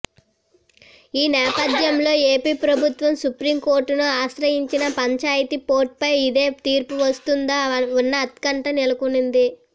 ఈ నేపథ్యంలో ఏపీ ప్రభుత్వం సుప్రీంకోర్టును ఆశ్రయించినా పంచాయతీ పోరుపై ఇదే తీర్పు వస్తుందా అన్న ఉత్కంఠ నెలకొంది